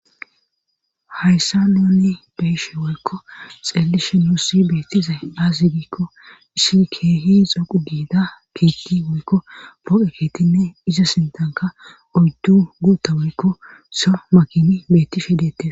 Hyssaa nuuni beyshe wokko xeelishe nuussi beettiza azigikko ishi keehi xoqu giida kiitti woykko boo7e keetinne iza sintanka oddu guutta woykko so makini bettif yedette.